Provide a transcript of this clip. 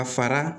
A fara